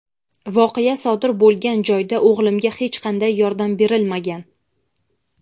Voqea sodir bo‘lgan joyda o‘g‘limga hech qanday yordam berilmagan.